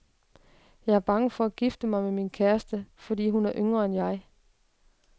Jeg er bange for at gifte mig med min kæreste, fordi hun er yngre end jeg.